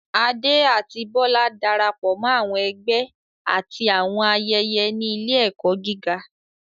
Ade àti Bola darapọ̀ mọ́ àwọn ẹgbẹ́ àti àwọn ayẹyẹ ní ilé-ẹ̀kọ́ gíga.